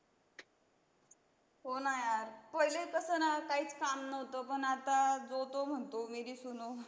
होणा यार, पहिले तसं ना काहीच काम नव्हतं पण आता जो तो म्हणतो मेरी सुनो.